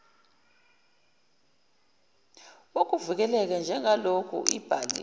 wokuvikeleka njengaloku ibhaliwe